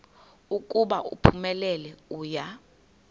ukuba uphumelele uya